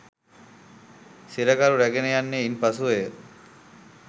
සිරකරු රැගෙන යන්නේ ඉන් පසුවය.